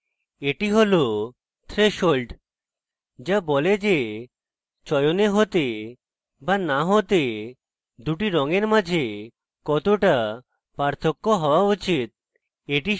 এটি হল threshold যা বলে যে চয়নে হতে be না হতে দুটি রঙের মাঝে কতটা পার্থক্য হওয়া উচিত